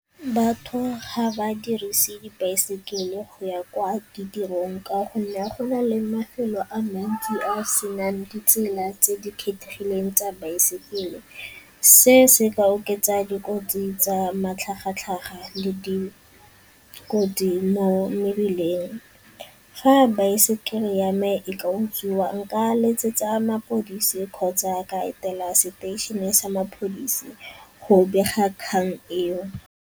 Batho ga ba dirise dibaesekele go ya kwa ditirong ka gonne go na le mafelo a mantsi a a se nang ditsela tse di kgethegileng tsa baesekele. Se se ka oketsa dikotsi tsa matlhagatlhaga le dikotsi mo mebileng. Fa baesekele ya me e ka utswiwa nka letsetsa mapodisi kgotsa ka etela seteišene sa mapodisi go bega kgang eo.